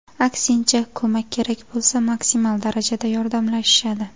Aksincha, ko‘mak kerak bo‘lsa, maksimal darajada yordamlashishadi.